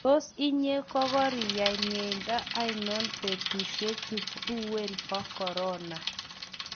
Tos inye kokoriyai miendo anon eng betushe chu uwen bo corona?